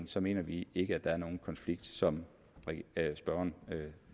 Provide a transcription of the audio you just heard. så mener vi ikke at der er nogen konflikt som spørgeren